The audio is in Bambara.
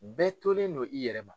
Bɛɛ tolen don i yɛrɛ ma.